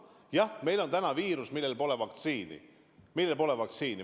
Jah, meil on täna viirus, mille vastu pole vaktsiini.